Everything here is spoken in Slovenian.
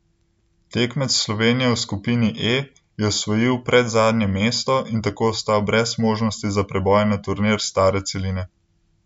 Tekmec Slovenije v skupini E je osvojil predzadnje mesto in tako ostal brez možnosti za preboj na turnir stare celine.